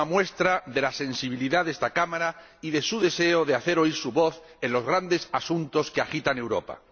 Son una muestra de la sensibilidad de esta Cámara y de su deseo de hacer oír su voz en los grandes asuntos que agitan Europa.